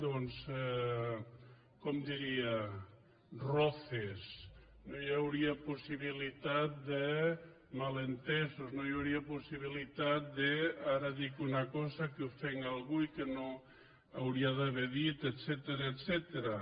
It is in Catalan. com ho diria roces no hi hauria possibilitat de malentesos no hi hauria possibilitat de ara dic una cosa que ofenc algú i que no hauria d’haver dit etcètera